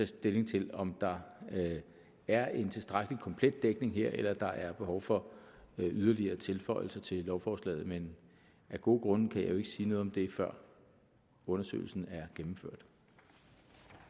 stilling til om der er en tilstrækkelig komplet dækning her eller der er behov for yderligere tilføjelser til lovforslaget men af gode grunde kan jeg jo ikke sige noget om det før undersøgelsen